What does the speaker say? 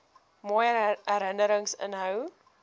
mooi herinnerings inhou